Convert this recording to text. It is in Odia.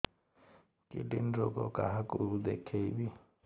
କିଡ଼ନୀ ରୋଗ କାହାକୁ ଦେଖେଇବି